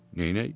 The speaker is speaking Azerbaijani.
Neynək?